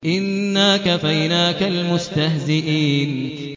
إِنَّا كَفَيْنَاكَ الْمُسْتَهْزِئِينَ